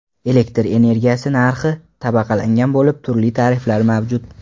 Elektr energiyasi narxi tabaqalangan bo‘lib, turli tariflar mavjud.